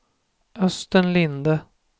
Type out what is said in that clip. Östen Linde